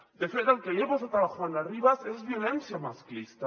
de fet el que li ha passat a la juana rivas és violència masclista